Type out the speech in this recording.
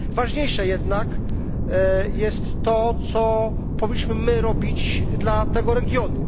Ważniejsze jednak jest to, co powinniśmy my robić dla tego regionu.